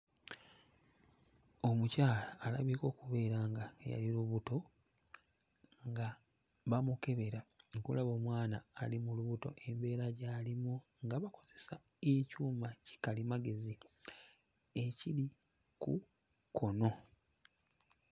Omukyala alabika okubeera nga yali lubuto nga bamukebera okulaba omwana ali mu lubuto embeera gy'alimu nga bakozesa ekyuma kikalimagezi ekiri ku kkono.